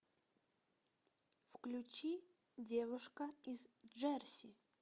включи девушка из джерси